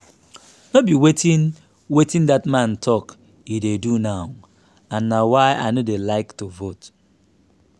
no be wetin wetin dat man talk he dey do now and na why i no dey like to vote